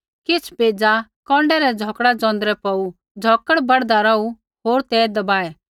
किछ़ बेज़ा कौन्डै रै झ़ौकड़ा ज़ोंदरै पौड़ू झ़ौकड़ बढ़दा रौहू होर ते दबाऐ